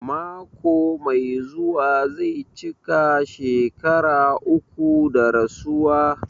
Mako mai zuwa zai cika shekara uku da rasuwa.